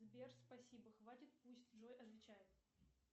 сбер спасибо хватит пусть джой отвечает